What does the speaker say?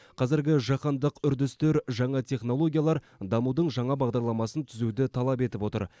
қазіргі жаһандық үрдістер жаңа технологиялар дамудың жаңа бағдарламасын түзуді талап етіп отыр